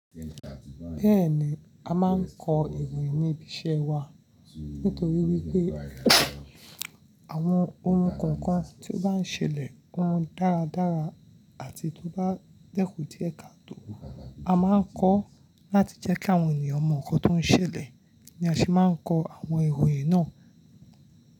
Bẹ́ẹ̀ni, a máa ń kọ ìròyìn ní ibi iṣẹ́ wa nítorí wípé àwọn ohun kan kan tí ó bá ń ṣẹlẹ̀, ohun dáradára àti tó bá dẹ́kù díẹ̀ katọ, a máa ń kọ láti jẹ́ kí àwọn ènìyàn mọ nǹkan tó ń ṣẹlẹ̀. Ni a sì máa ń kọ àwọn ìròyìn náà.